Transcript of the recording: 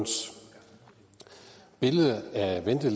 hvis